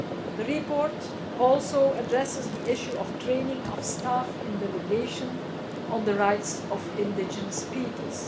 The report addresses the issue of the training of delegation staff on the rights of indigenous peoples.